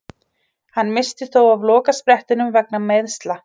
Hann missti þó af lokasprettinum vegna meiðsla.